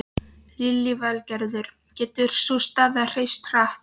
Lillý Valgerður: Getur sú staða breyst hratt?